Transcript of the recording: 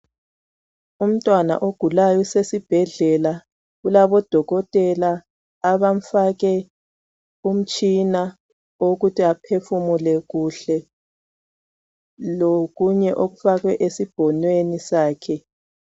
Umntwana ogulayo usesibhedlela ulabodokotela abamfake umtshina ukuthi aphefumule kuhle lokunye okufakwe esibhonweni sakhe.